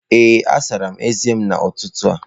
Ee, asara m eze m n'ụtụtụ a